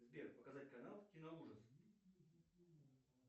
сбер показать канал киноужасы